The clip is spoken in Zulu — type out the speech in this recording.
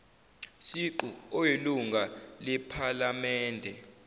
siqu oyilunga lephalamende